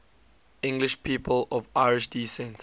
english people of irish descent